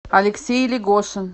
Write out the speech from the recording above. алексей легошин